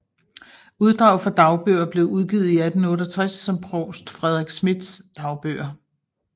Uddrag fra dagbøger blev udgivet i 1868 som Provst Fredrik Schmidts Dagbøger